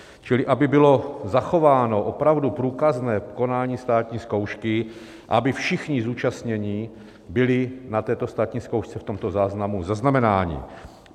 Čili aby bylo zachováno opravdu průkazné konání státní zkoušky a aby všichni zúčastnění byli na této státní zkoušce v tomto záznamu zaznamenáni.